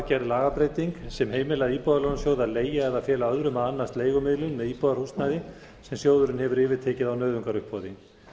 gerð lagabreyting sem heimilar íbúðalánasjóð að leigja eða fela öðrum að annast leigumiðlun með íbúðarhúsnæði sem sjóðurinn hefur yfirtekið á nauðungaruppboði